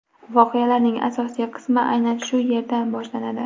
Voqealarning asosiy qismi aynan shu yerdan boshlanadi.